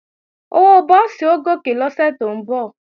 Owó búùsì ó gòkè lọ́sẹ̀ tó ń bọ̀